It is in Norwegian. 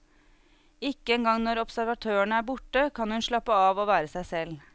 Ikke engang når observatørene er borte, kan hun slappe av og være seg selv.